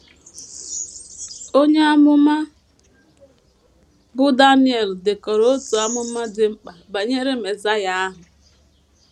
Onye amụma bụ́ Daniel dekọrọ otu amụma dị mkpa banyere Mesaịa ahụ.